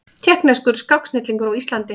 Tékkneskur skáksnillingur á Íslandi